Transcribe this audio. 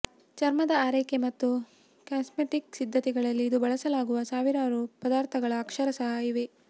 ಚರ್ಮದ ಆರೈಕೆ ಮತ್ತು ಕಾಸ್ಮೆಟಿಕ್ ಸಿದ್ಧತೆಗಳಲ್ಲಿ ಇಂದು ಬಳಸಲಾಗುವ ಸಾವಿರಾರು ಪದಾರ್ಥಗಳು ಅಕ್ಷರಶಃ ಇವೆ